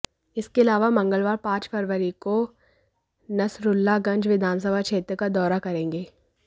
इसके अलावा मंगलवार पांच फरवरी को नसरुल्लागंज विधानसभा क्षेत्र का दौरा करेंगे